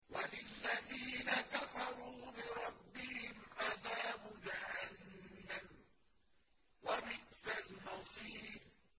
وَلِلَّذِينَ كَفَرُوا بِرَبِّهِمْ عَذَابُ جَهَنَّمَ ۖ وَبِئْسَ الْمَصِيرُ